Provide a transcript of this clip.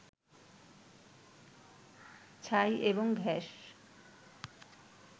ছাই এবং গ্যাস